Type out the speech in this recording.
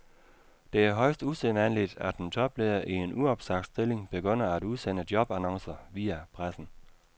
Det er højst usædvanligt, at en topleder i en uopsagt stilling begynder at udsende jobannoncer via pressen.